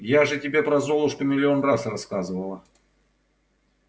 я же тебе про золушку миллион раз рассказывала